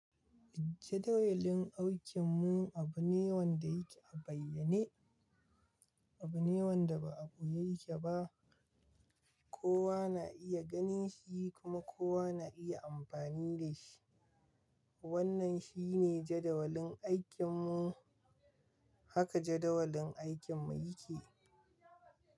Jadawalin aikin mu abu ne wanda yake a bayyane, abu ne wanda ba a boye yake ba. Kowa na iya ganin shi kuma kowa na iya amfani da shi. Wannan shi ne jadawalin aikin mu. Haka jadawalin aikin mu yake.